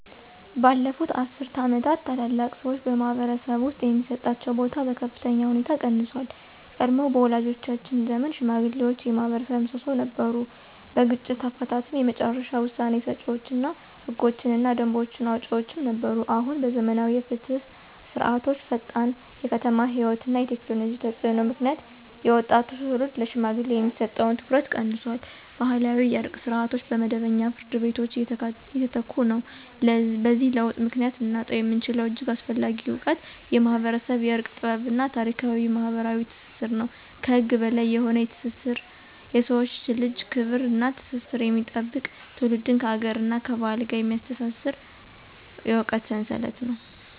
ባለፉት አስርት ዓመታት፣ ታላላቅ ሰዎች በማኅበረሰብ ውስጥ የሚሰጣቸው ቦታ በከፍተኛ ሁኔታ ቀንሷል። ቀድሞ በወላጆቻችን ዘመን ሽማግሌዎች የማኅበረሰብ ምሰሶ ነበሩ። በግጭት አፈታትም የመጨረሻ ውሳኔ ሰጪዎች እና ህጎችንና ደንቦችን አውጪዎችም ነበሩ። አሁን በዘመናዊ የፍትህ ስርዓቶችዐፈጣን የከተማ ሕይወት እና የቴክኖሎጂ ተፅዕኖ ምክንያት የወጣቱ ትውልድ ለሽማግሌዎች የሚሰጠው ትኩረት ቀንሷል። ባህላዊ የእርቅ ስርዓቶች በመደበኛ ፍርድ ቤቶች እየተተኩ ነው። በዚህ ለውጥ ምክንያት ልናጣው የምንችለው እጅግ አስፈላጊ እውቀት የማኅበረሰብ የእርቅ ጥበብ እና ታሪካዊ ማኅበራዊ ትስስር ነው። ከህግ በላይ የሆነ የሰውን ልጅ ክብር እና ትስስር የሚጠብቅ፣ ትውልድን ከአገርና ከባህል ጋር የሚያስተሳስር የእውቀት ሰንሰለት ነው።